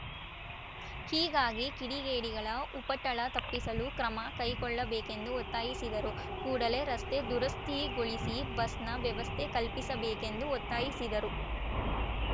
ಹೀಗಾಗಿ ಕಿಡಿಗೇಡಿಗಳ ಉಪಟಳ ತಪ್ಪಿಸಲು ಕ್ರಮ ಕೈಗೊಳ್ಳಬೇಕೆಂದು ಒತ್ತಾಯಿಸಿದರು ಕೂಡಲೇ ರಸ್ತೆ ದುರಸ್ತಿಗೊಳಿಸಿ ಬಸ್‌ನ ವ್ಯವಸ್ಥೆ ಕಲ್ಪಿಸಬೇಕೆಂದು ಒತ್ತಾಯಿಸಿದರು